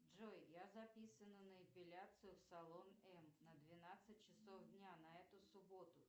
джой я записана на эпиляцию в салон м на двенадцать часов дня на эту субботу